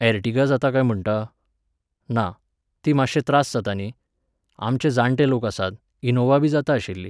ऍरटिगा जाता काय म्हणटा? ना, ती मात्शे त्रास जाता न्ही. आमचे जाण्टे लोक आसात, इनोव्हाबी जाता आशिल्ली